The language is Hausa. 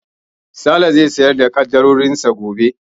Sale zai sayar da ƙaddarorin sa gobe.